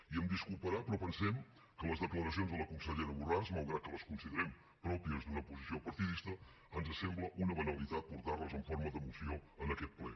i em disculparà però pensem que les declaracions de la consellera borràs malgrat que les considerem pròpies d’una posició partidista ens sembla una banalitat portar les en forma de moció en aquest ple